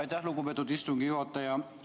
Aitäh, lugupeetud istungi juhataja!